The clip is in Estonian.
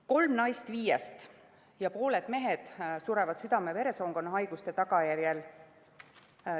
Kolm naist viiest ja pooled mehed surevad südame-veresoonkonnahaiguste tagajärjel.